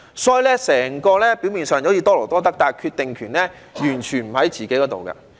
所以，整體運作表面上是多勞多得，但決定權完全不在外賣員自己身上。